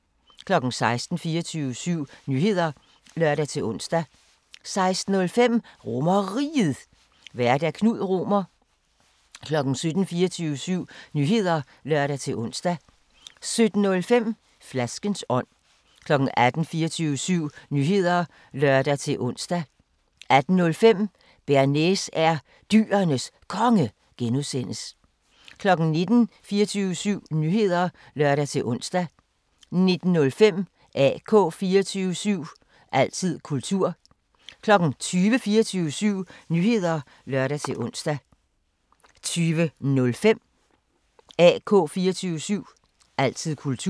16:00: 24syv Nyheder (lør-ons) 16:05: RomerRiget, Vært: Knud Romer 17:00: 24syv Nyheder (lør-ons) 17:05: Flaskens ånd 18:00: 24syv Nyheder (lør-ons) 18:05: Bearnaise er Dyrenes Konge (G) 19:00: 24syv Nyheder (lør-ons) 19:05: AK 24syv – altid kultur 20:00: 24syv Nyheder (lør-ons) 20:05: AK 24syv – altid kultur